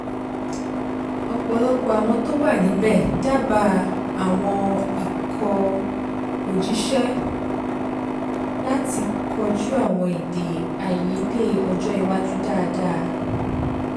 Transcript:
ọpọlọpọ àwọn tó wà níbẹ̀ dábàá àwọn ikọ̀-òjíṣẹ́ láti kojú àwọn èdè-àìyedè ọjọ́ iwájú dáadáa